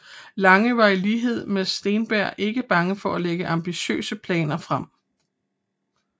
Lange var i lighed med Steenberg ikke bange for at lægge ambitiøse planer frem